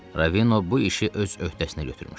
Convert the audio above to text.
Ravino bu işi öz öhdəsinə götürmüşdü.